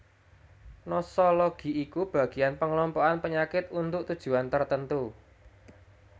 Nosologi iku bagian pengelompokan panyakit untuk tujuan tertentu